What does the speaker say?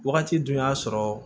Wagati dun y'a sɔrɔ